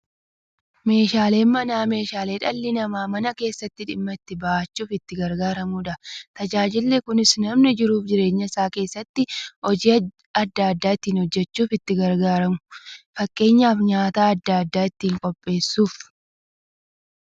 Meeshaaleen Manaa meeshaalee dhalli namaa Mana keessatti dhimma itti ba'achuuf itti gargaaramaniidha. Tajaajilli kunis, namni jiruuf jireenya isaa keessatti hojii adda adda ittiin hojjachuuf itti gargaaramu. Fakkeenyaf, nyaata adda addaa ittiin qopheessuuf.